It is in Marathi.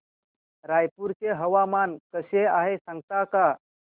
रायपूर चे हवामान कसे आहे सांगता का